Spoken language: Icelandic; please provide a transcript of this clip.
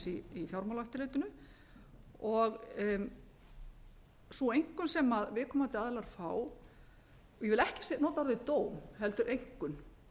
í fjármálaeftirlitinu sú einkunn sem viðkomandi aðilar fá ég vil ekki nota orðið dóm heldur einkunn